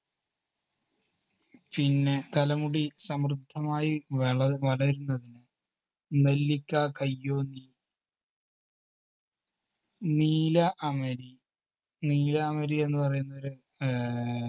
പിന്നെ തലമുടി സമൃദ്ധമായി വള~വളരുന്നതിന് നെല്ലിക്ക കയ്യോന്നി നീല അമരി നീലാംബരി എന്ന് പറയുന്ന ഒരു ആഹ്